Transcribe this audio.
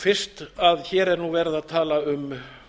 fyrst hér er nú verið að tala um